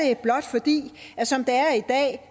blot fordi at som det er i dag